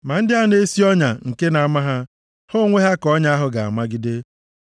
Ma ndị a na-esi ọnya nke na-ama ha. Ha onwe ha ka ọnya ahụ ga-ejide.